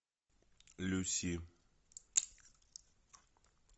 люси